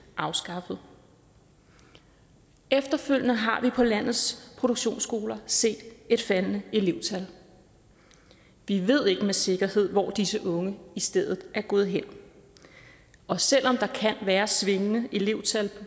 afskaffet efterfølgende har vi på landets produktionsskoler set et faldende elevtal vi ved ikke med sikkerhed hvor disse unge i stedet er gået hen og selv om der kan være et svingende elevtal